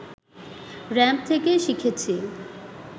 ramp থেকে শিখেছি